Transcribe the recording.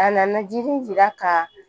A nana jiri jira ka